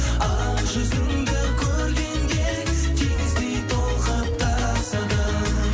ақ жүзіңді көргенде теңіздей толқып тасыдым